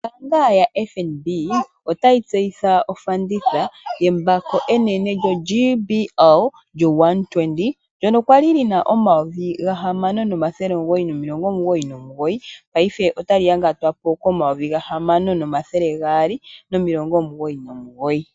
Ombaanga yoFNB otayi tseyitha ofanditha yembako enene lyoGBL 120 ndyono kwali lina omayovi gahamano nomathele omugoyi nomilongo omugoyi nomugoyi, paife otali yangatwa po komayovi gahamamo nomathele gaali nomilongo omugoyi nomugoyi.